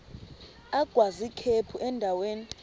agwaz ikhephu endaweni